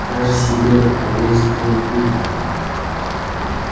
даже себе поверить было трудно